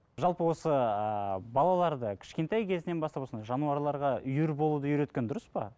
жалпы осы ыыы балаларды кішкентай кезінен бастап осындай жануарларға үйір болуды үйреткен дұрыс па